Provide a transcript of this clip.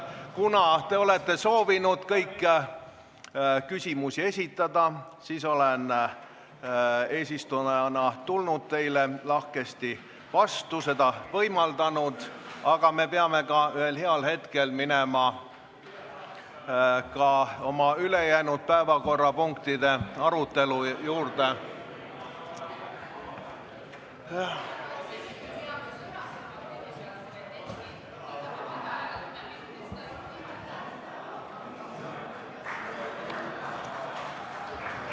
Kuna te olete soovinud kõik küsimusi esitada, siis olen eesistujana teile lahkesti vastu tulnud, seda võimaldanud, aga me peame ühel heal hetkel minema oma ülejäänud päevakorrapunktide arutelu juurde.